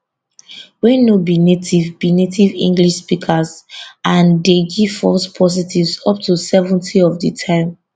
wey no be native be native english speakers and dey give false positives up to 70 of di time